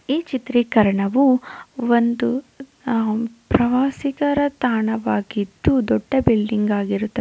ಈ ಚಿತೀಕರಣವು ಒಂದು ಪ್ರವಾಸಿಕರ ತಾಣವಾಗಿದ್ದು ದೊಡ್ಡ ಬಿಲ್ಡಿಂಗ್ ಆಗಿರುತ್ತೆ.